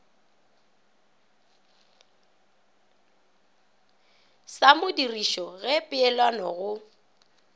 sa modirišo ge peelano go